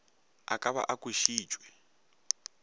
a ka ba a kwešitšwe